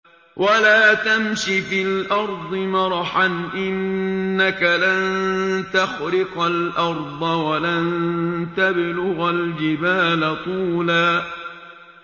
وَلَا تَمْشِ فِي الْأَرْضِ مَرَحًا ۖ إِنَّكَ لَن تَخْرِقَ الْأَرْضَ وَلَن تَبْلُغَ الْجِبَالَ طُولًا